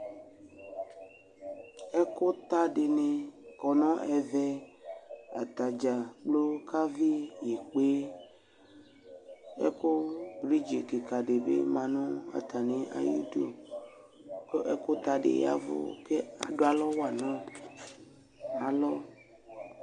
Ɛkʋta dɩnɩ kɔ nʋ ɛvɛ Atadza kplo kavɩ ikpe Ɛkʋ vidzi kɩka dɩ bɩ ma nʋ atamɩ idu, kʋ ɛkʋta dɩ ya ɛvʋ, kʋ adʋ alɔwa nʋ alɔ